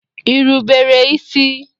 Ị rubere isi?